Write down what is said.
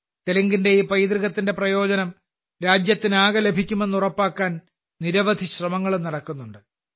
തെലുങ്കിന്റെ ഈ പൈതൃകത്തിന്റെ പ്രയോജനം രാജ്യത്തിനാകെ ലഭിക്കുമെന്ന് ഉറപ്പാക്കാൻ നിരവധി ശ്രമങ്ങളും നടക്കുന്നുണ്ട്